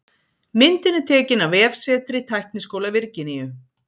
Myndin er tekin af vefsetri Tækniskóla Virginíu.